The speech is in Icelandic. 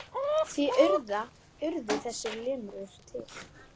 Því urðu þessar limrur til.